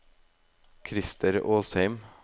Christer Åsheim